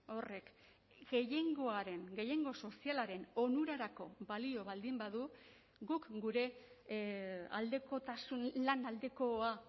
horrek gehiengoaren gehiengo sozialaren onurarako balio baldin badu guk gure aldekotasun lan aldekoa